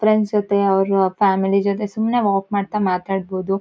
Friends ಜೊತೆ ಅವ್ರ family ಜೊತೆ ಸುಮ್ನೆ ವಾಕ್ ಮಾಡ್ತಾ ಮಾತಾಡಬೋದು.